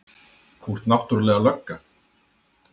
Þú ert náttúrlega lögga.